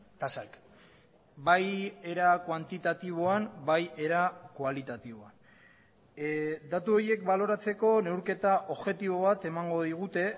tasak bai era kuantitatiboan bai era kualitatiboan datu horiek baloratzeko neurketa objektibo bat emango digute